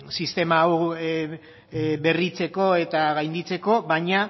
sistema hau berritzeko eta gainditzeko baina